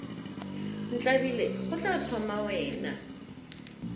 ntlabile go tla thoma wena